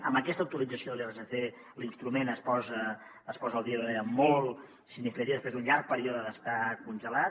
amb aquesta actualització de l’irsc l’instrument es posa al dia d’una manera molt significativa després d’un llarg període d’estar congelat